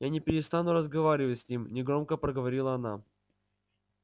я не перестану разговаривать с ним негромко проговорила она